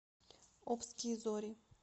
обские зори